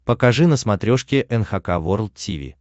покажи на смотрешке эн эйч кей волд ти ви